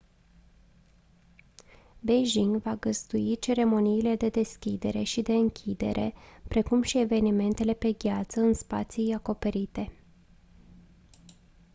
beijing va găzdui ceremoniile de deschidere și de închidere precum și evenimentele pe gheață în spații acoperite